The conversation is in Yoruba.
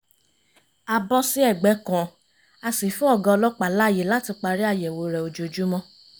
a bọ́ sí ẹ̀gbẹ́ kan a sì fún ọ̀gá ọlọ́pàá láàyè láti parí àyẹ̀wò rẹ̀ ojoojúmọ́